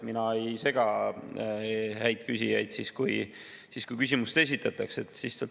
Mina ei sega häid küsijaid, kui küsimust esitatakse.